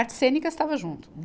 Artes cênicas estava junto.